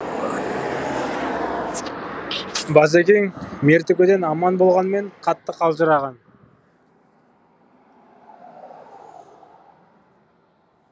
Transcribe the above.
базекең мертігуден аман болғанымен қатты қалжыраған